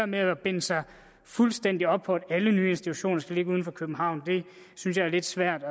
med at binde sig fuldstændig op på at alle nye institutioner skal ligge uden for københavn synes jeg er lidt svært